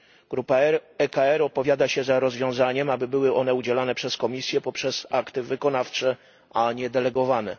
Grupa ECR opowiada się za rozwiązaniem, aby były one udzielane przez Komisję poprzez akty wykonawcze, a nie akty delegowane.